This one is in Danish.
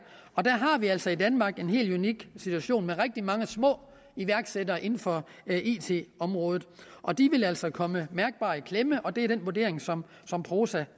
og der har vi altså i danmark en helt unik situation med rigtig mange små iværksættere inden for it området og de vil altså komme mærkbart i klemme og det er den vurdering som som prosa